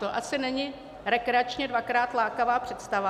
To asi není rekreačně dvakrát lákavá představa.